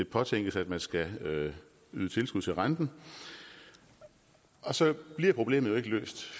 påtænkes at man skal yde tilskud til renten og så bliver problemet jo ikke løst